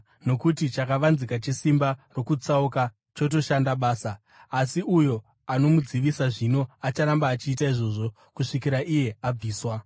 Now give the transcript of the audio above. Nokuti chakavanzika chesimba rokutsauka chotoshanda basa; asi uyo anomudzivisa zvino acharamba achiita izvozvo kusvikira iye abviswa.